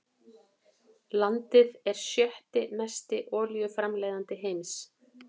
Landið er sjötti mesti olíuframleiðandi heims